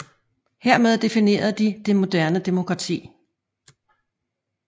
Hermed definerede de det moderne demokrati